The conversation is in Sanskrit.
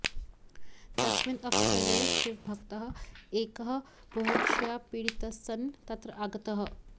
तस्मिन् अवसरे शिवभक्तः एकः बुभुक्षया पीडितस्सन् तत्र आगतः